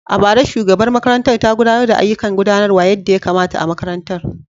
A bara, shugabar makarantar ta gudanar da ayyukan gudanarwa yadda ya kamata a makarantar.